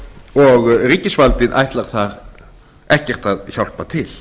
og ríkisvaldið ætlar þar ekkert að hjálpa til